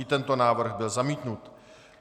I tento návrh byl zamítnut.